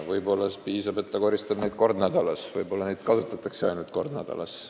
Võib-olla piisab, kui ta koristab neid kord nädalas, võib-olla neid kasutataksegi ainult kord nädalas.